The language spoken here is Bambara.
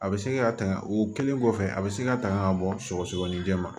A bɛ se ka tanga o kɛlen kɔfɛ a bɛ se ka tanga ka bɔ sɔgɔsɔgɔninjɛ ma